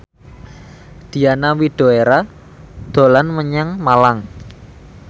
Diana Widoera dolan menyang Malang